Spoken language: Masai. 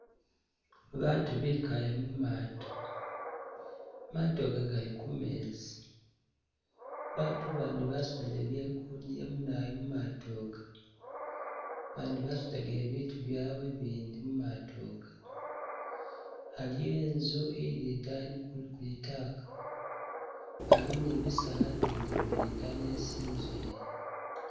Baatu bikaale mumaato, maato ga gali mumezi , baatu abandi basudile bye kudya munawoyu mumaato aga abandi basutagile bitu byabwe mumaato aga, aliyo inzu ili idani ku kulitaaka , aliwo ne bisaala ibindi ibili idaani isi inzu ili.